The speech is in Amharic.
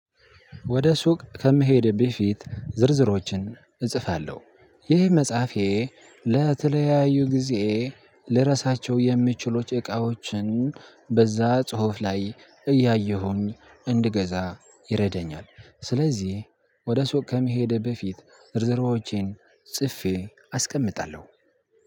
ወደ ሱቅ ከምሄዴ በፊት ዝርዝሮችን እጽፋለሁ። ይህ መጽሐፌ ለተለያዩ ጊዜ ልረሳቸው የሚችሉት እቃዎችን በዛ ጽሁፍ ላይ እያየሁኝ እንድገዛ ይረደኛል። ስለዚህ ወደ ሱቅ ከመሄዴ በፊት ዝርዝሮቼን ጽፌ አስቀምጣለሁ።